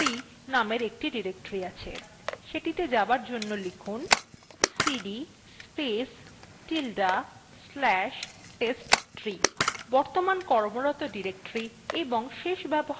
ধরুন আপনার home ডিরেক্টরীতে testtree নামের একটি directory আছে সেটিতে যাবার জন্য লিখুন cd space tilde slash testtree